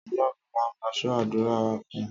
ọlọrun la ma so adura wa fún